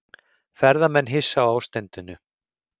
Ferðamenn hissa á ástandinu